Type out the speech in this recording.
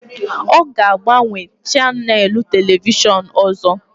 Ọ ga-agbanwe chanèlụ telivishọn ọzọ